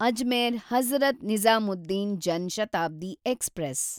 Ajmer Hazrat Nizamuddin Jan Shatabdi express